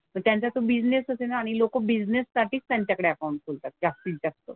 पण त्यांचा तो बिझनेसच आहे ना आणि लोकं बिझनेससाठीच त्यांच्याकडे अकाउंट खोलतात जास्तीत जास्त.